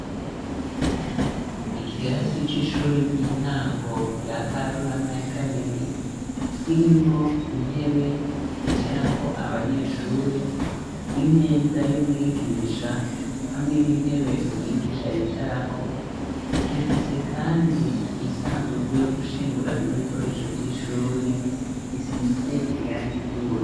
Ikirasi c'ishure ry'intango rya Karurama ya kabiri, kirimwo intebe zicarako abanyeshure, imeza y'umwigisha hamwe n'intebe umwigisha yicarako, gifise kandi isandugu yo gushinguramwo ibikoresho vy'ishuri isize irangi ry'uburu.